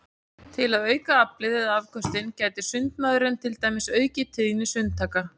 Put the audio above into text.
Til að auka aflið eða afköstin gæti sundmaðurinn til dæmis aukið tíðni sundtaka.